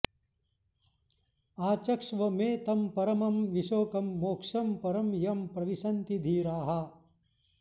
आचक्ष्व मे तं परमं विशोकं मोक्षं परं यं प्रविशन्ति धीराः